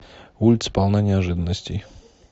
улица полна неожиданностей